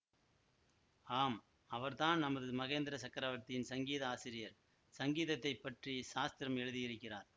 ஆம் அவர்தான் நமது மகேந்திர சக்கரவர்த்தியின் சங்கீத ஆசிரியர் சங்கீதத்தை பற்றி சாஸ்திரம் எழுதியிருக்கிறார்